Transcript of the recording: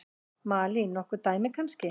Malín: Nokkur dæmi kannski?